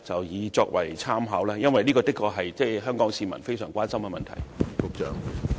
因為這的確是香港市民非常關心的問題。